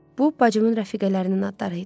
Bu bacımın rəfiqələrinin adları idi.